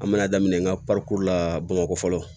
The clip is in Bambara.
An mana daminɛ n ka la bamakɔ fɔlɔ